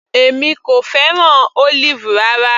Èmi kò fẹ́ràn Olive rárá.